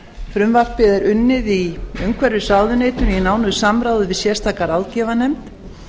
frumvarpið er unnið í umhverfisráðuneytinu í nánu samráði við sérstaka ráðgjafarnefnd